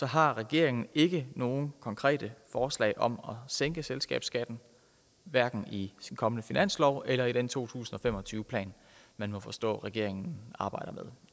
har regeringen ikke nogen konkrete forslag om at sænke selskabsskatten hverken i den kommende finanslov eller i den to tusind og fem og tyve plan man må forstå at regeringen arbejder med